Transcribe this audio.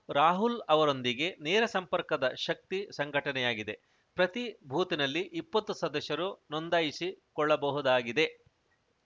ರಾಹುಲ್‌ ಅವರೊಂದಿಗೆ ನೇರ ಸಂಪರ್ಕದ ಶಕ್ತಿ ಸಂಘಟನೆಯಾಗಿದೆ ಪ್ರತೀ ಬೂತ್‌ನಲ್ಲಿ ಇಪ್ಪತ್ತು ಸದಸ್ಯರು ನೊಂದಾಯಿಸಿ ಕೊಳ್ಳಬಹುದಾಗಿದೆ